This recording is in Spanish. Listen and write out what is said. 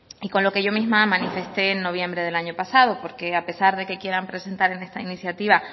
y con lo que yo misma manifesté en noviembre del año pasado porque a pesar de que quieran presentar en esta iniciativa